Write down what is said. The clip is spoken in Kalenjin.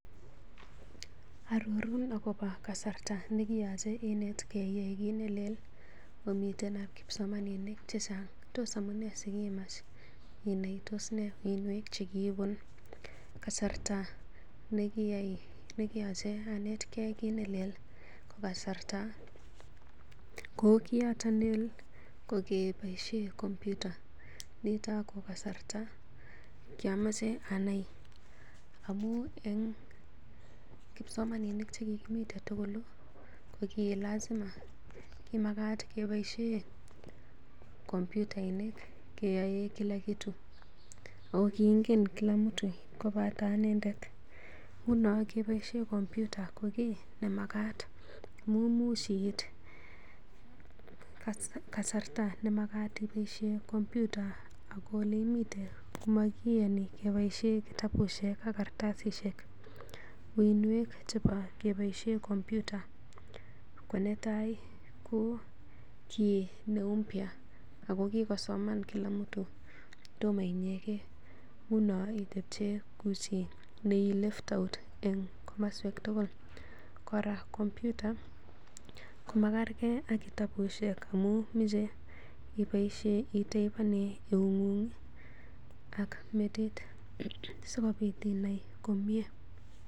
Arorun agobo kasarta ne kiyochei inetgei iyai kiit ne leel omiten ak kipsomaminik che chang' ii? Tos amunee si kiimachei inai? Tos nee uinwek che kiibun? Kasarta nekiyache anetge kit ne leel ko kasarta, ko kiyoto leel ko kiboisie kompyuta nito ko kasarta kyomoche anai amun en kipsomaninik che kigimiten tugul ko kilazima, kimagat keboisien kompyutainik keyoe kila kitu agokiingen kila mtu kobate anendet. Nguno keboisie kompyuta ko kiiy nemagat amun imuch iit kasarta nemagatiboisie kompyuta ago neimite komakiyoni keboisie kitabushek ak kartasishek. Uiynwek chebo keboisie kompyuta ko netai ko kiy ne mpya ago kigosoman kila mtu tomo inyegen. Nguno itepche koichi ne left out en komoswek tugul. Kora kompyuta komakerge ak kitabushek amun moche iboisien itypenen eung'ung ak metit sikobit inai komye.